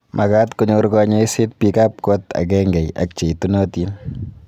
magat konyor kanyoiset biik ab kot agengei ak cheitunotin